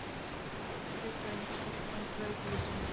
Annar tvíburinn- stelpan- braut ísinn.